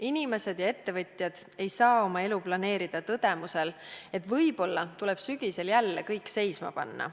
Inimesed ja ettevõtjad ei saa oma elu planeerida tõdemuse põhjal, et võib-olla tuleb sügisel jälle kõik seisma panna.